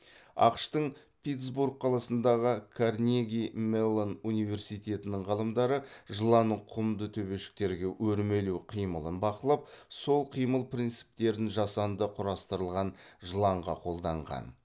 ақш тың питтсбург қаласындағы карнеги меллон университетінің ғалымдары жыланның құмды төбешіктерге өрмелеу қимылын бақылап сол қимыл принциптерін жасанды құрастырылған жыланға қолданған